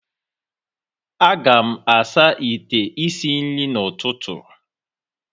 A ga-asa ite isi nri n'ụtụtụ.